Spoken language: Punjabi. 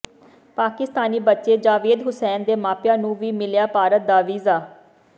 ਪਾਕਿਸਤਾਨੀ ਬੱਚੇ ਜਾਵੇਦ ਹੁਸੈਨ ਦੇ ਮਾਪਿਆਂ ਨੂੰ ਵੀ ਮਿਲਿਆ ਭਾਰਤ ਦਾ ਵੀਜ਼ਾ